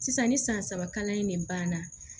Sisan ni san saba kalan in ne banna